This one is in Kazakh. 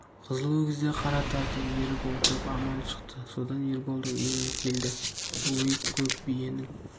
қызыл өгіз де қара тартып еріп отырып аман шықты содан ерболдың үйіне келді өй көк биенің